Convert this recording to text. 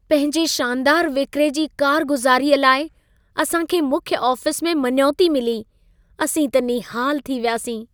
पंहिंजे शानदारु विक्रे जी कारगुज़ारीअ लाइ असां खे मुख्य आफ़िस में मञोती मिली। असीं त निहालु थी वियासीं।